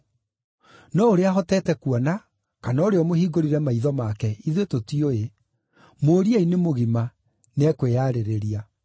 No ũrĩa ahotete kuona, kana ũrĩa ũmũhingũrire maitho make, ithuĩ tũtiũĩ. Mũũriei nĩ mũgima, nĩekwĩyarĩrĩria.”